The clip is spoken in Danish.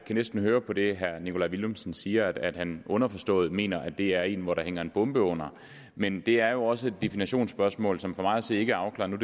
næsten høre på det herre nikolaj villumsen siger at han underforstået mener at det er en hvor der hænger en bombe under men det er jo også et definitionsspørgsmål som for mig at se ikke er afklaret